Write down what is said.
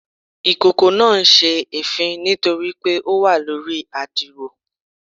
Ikoko naa n se èéfín nitori pe o wa lori adiro